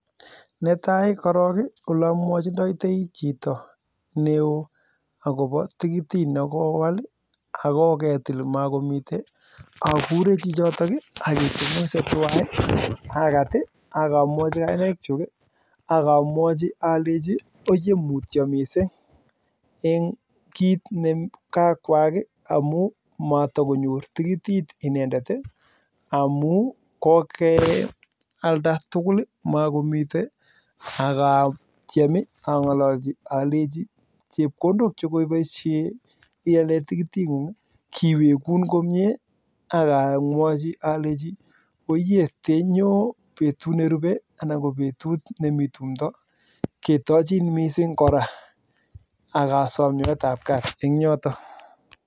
Netai akurei chichitok ii aketobngosei tuwai akat ii akamwachii kainaik chuk ii akalechii mutyo missing ii eng tigitit nemainyoru amuu kokealda tugul ii makomii akatiem angololchii alachi chepkondok kuuk kiwekun komnyee akatach betut akee koraa